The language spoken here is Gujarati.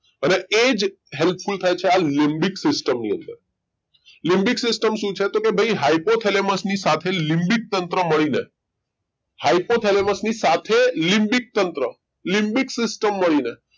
અને એજ helpful થાય છે આ લીબીક system ની અંદર લીબીક system શું છેકે ભાઈ hypothalamus ની સાથે લીબીકતંત્રો મળીને hypothalamus ની સાથે લીબીકતંત્રો લીબીક system મળીને